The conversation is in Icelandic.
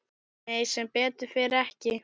Nei sem betur fer ekki.